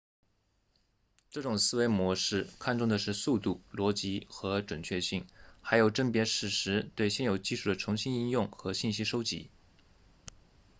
这种思维模式看重的是速度逻辑和准确性还有甄别事实对现有技术的重新应用和信息收集